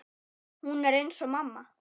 Hún er eins og mamma.